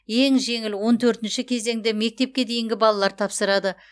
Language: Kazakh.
ең жеңіл он төртінші кезеңді мектепке дейінгі балалар тапсырады